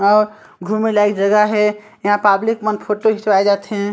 घूमे लाइक जगह हे इहा पाब्लिक मन फोटो खिचवाए जाथे।